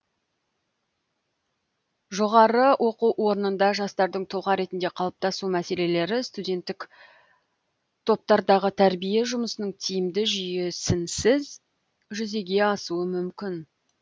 жоғары оқу орнында жастардың тұлға ретінде қалыптасу мәселелері студенттік топтардағы тәрбие жұмысының тиімді жүйесінсіз жүзеге асуы мүмкін